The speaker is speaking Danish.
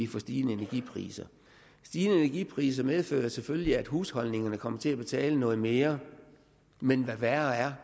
få stigende energipriser stigende energipriser medfører selvfølgelig at husholdningerne kommer til at betale noget mere men hvad værre er